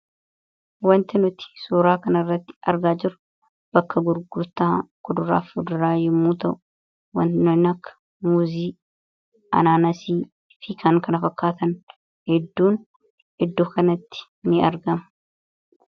wanti nuti suuraa kan irratti argaa jiru bakka gurgurtaa kuduraaf fuduraa yommuu ta'u awanti nunakka muuzii anaanasii fikan kana fakkaatan edduun eddoo kanatti ni argame